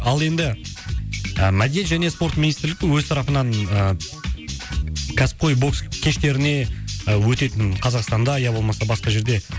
ал енді мәдениет және спорт министрлікті өз тарапынан ыыы кәсіпқой бокс кештеріне і өтетін қазақстанда ия болмаса басқа жерде